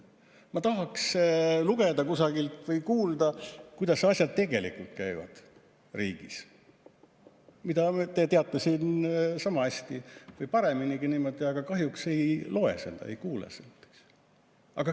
Ma tahaks kusagilt lugeda või kuulda, kuidas asjad tegelikult riigis käivad, mida te teate sama hästi või pareminigi, aga kahjuks ei ole seda lugeda ega kuulda.